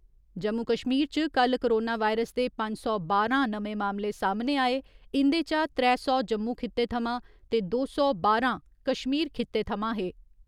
जम्मू कश्मीर च कल्ल coronavirus दे पंज सौ बारां नमें मामले सामने आए इं'दे चा त्रै सौ जम्मू खिते थमां ते दो सौ बारां कश्मीर खित्ते थमां हे।